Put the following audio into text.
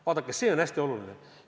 Vaadake, see on hästi oluline!